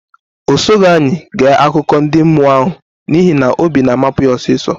O sughi anyị ge akụkọ ndị mmụọ ahụ n'ihi na obi na amapu yá osiso